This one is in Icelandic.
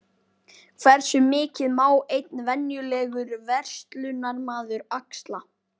Hversu mikið má einn venjulegur verslunarmaður axla?